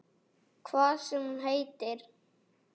Hvað sem hún nú heitir?